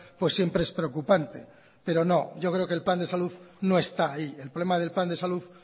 pues siempre es preocupante pero no yo creo que el plan de salud no está ahí el problema del plan de salud